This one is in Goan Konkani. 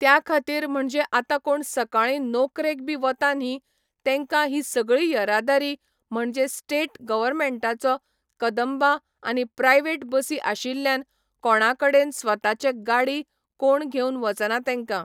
त्या खातीर म्हणजे आता कोण सकाळीं नोकरेक बी वता न्ही तेंका ही सगळी येरादारी म्हणजे स्टेट गॉवर्मेंटाचो कदंबा आनी प्रायवेट बसी आशिल्ल्यान कोणा कडेन स्वताचे गाडी कोण घेवन वचना तेंका